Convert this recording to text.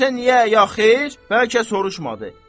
Desə niyə ya xeyr, bəlkə soruşmadı.